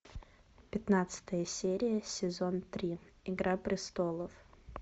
пятнадцатая серия сезон три игра престолов